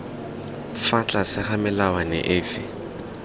fa tlase ga melawana efe